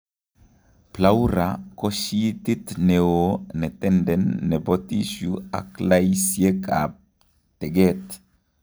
Pleura ko sheetit neoo netenden nebo tissue ak laiisiek ab teget